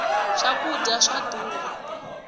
swa kudya swa durha